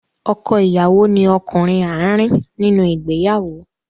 Ọkọ ìyàwó ni ọkùnrin àárín nínú ìgbéyàwó.